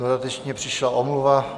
Dodatečně přišla omluva.